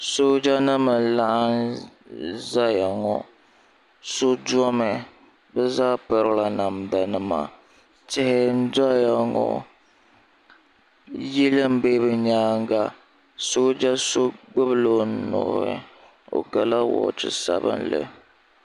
sooja nima n-laɣim zaya ŋɔ so domi bɛ zaa pirila namda nima tihi n-doya ŋɔ yili m-be bɛ nyaaga sooja so kpubi la o nuhi o gala wɔɔchi sabinli.